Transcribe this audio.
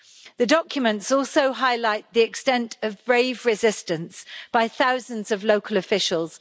The documents also highlight the extent of brave resistance by thousands of local officials.